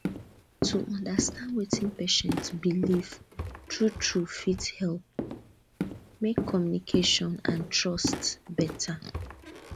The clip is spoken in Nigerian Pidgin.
to understand wetin patient believe truetrue fit help make communication and trust better